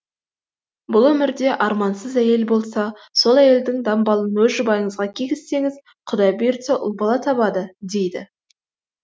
бұл өмірде армансыз әйел болса сол әйелдің дамбалын өз жұбайыңызға кигізсеңіз құдай бұйыртса ұл бала табады дейді